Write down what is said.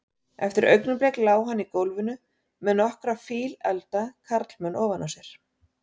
Eftir augnablik lá hann í gólfinu með nokkra fíleflda karlmenn ofan á sér.